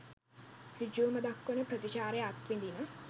ඍජුවම දක්වන ප්‍රතිචාරය අත්විඳින.